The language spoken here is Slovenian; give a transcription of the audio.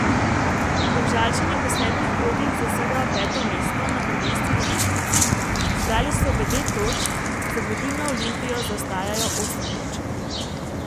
Domžalčani po sedmih krogih zasedajo peto mesto na prvenstveni lestvici, zbrali so devet točk, za vodilno Olimpijo, zaostajajo osem točk.